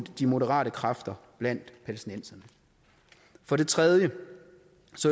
de moderate kræfter blandt palæstinenserne for det tredje